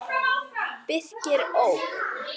Birkir ók.